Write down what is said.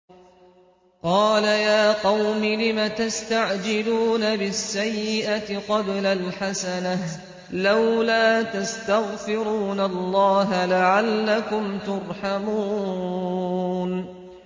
قَالَ يَا قَوْمِ لِمَ تَسْتَعْجِلُونَ بِالسَّيِّئَةِ قَبْلَ الْحَسَنَةِ ۖ لَوْلَا تَسْتَغْفِرُونَ اللَّهَ لَعَلَّكُمْ تُرْحَمُونَ